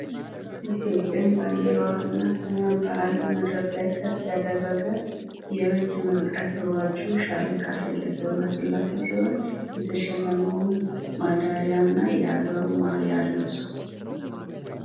ኢትዮጵያን ባንዲራዋን እና ስሟን በአለም ከፍ ያደረገ የረጅም ርቀት ሯጩ ሻምበል ሻለቃ ሃይለ ገብረስላሴ ሲሆን የተሸለመዉን ሜዳሊያ እና የአገርን ማሊያ ለብሶ